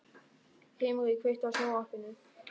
Himri, kveiktu á sjónvarpinu.